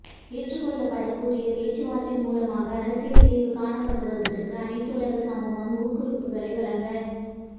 ஏற்றுக்கொள்ளப்படக்கூடிய பேச்சுவார்த்தை மூலமான அரசியல் தீர்வு காணப்படுவதற்கு அனைத்துலக சமூகம் ஊக்குவிப்புக்களை வழங்க